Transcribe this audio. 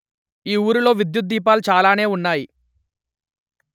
ఈ ఊరిలో విద్ద్యుదీపాలు చాలానే ఉన్నాయి